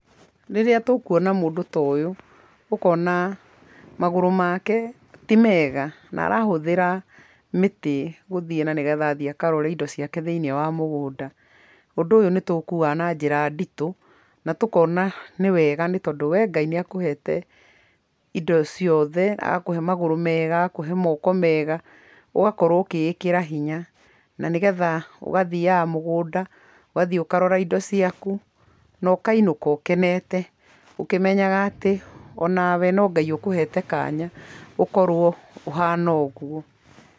Rĩrĩa tũkuona mũndũ ta ũyũ ũkona magũrũ make ti mega na arahũthĩra mĩtĩ gũthiĩ na nĩ getha athiĩ akarore indo ciake thĩiniĩ wa mũgũnda, ũndũ ũyũ nĩ tũ ũkuaga na njĩra nditũ na tũkona nĩ wega nĩ tondũ we Ngai nĩ akũhete indo ciothe, agakũhe magúũũ mega, agakũhe moko mega, ũgakorwo ũkĩĩkĩra hinya, na nĩ getha ũgathiaga mũgũnda ũgathiĩ ũkarora indo ciaku na ũkainũka ũkenete ũkĩmenyaga atĩ onawe no Ngai ũkũhete kanya ũkorwo ũhana ũguo.